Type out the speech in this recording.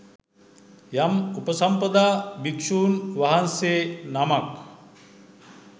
යම් උපසම්පදා භික්ෂූන් වහන්සේ නමක්